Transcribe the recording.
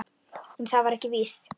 En það var ekki víst.